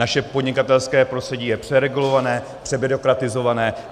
Naše podnikatelské prostředí je přeregulované, přebyrokratizované.